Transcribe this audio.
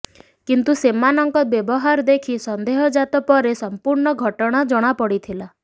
କିନ୍ତୁ ସେମାନଙ୍କ ବ୍ୟବହାର ଦେଖି ସନ୍ଦେହ ଜାତ ପରେ ସମ୍ପୂର୍ଣ୍ଣ ଘଟଣା ଜଣାପଡିଥିଲା